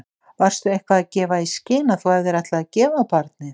Varstu eitthvað að gefa í skyn að þú hefðir ætlað að gefa barnið?